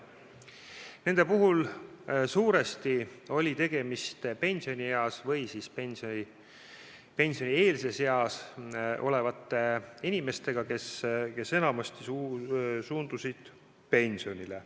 Need olid suuresti pensionieas või pensionieelses eas olevad inimesed, kes enamasti suundusid pensionile.